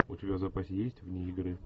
у тебя в запасе есть вне игры